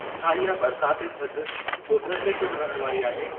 छा इहा बरिसात ऐं थधि ॿुधर ते पिणु रहण वारी आहे